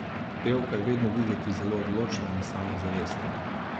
Pevka je vedno videti zelo odločna in samozavestna.